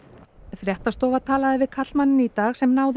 fréttastofa talaði við karlmanninn í dag sem náði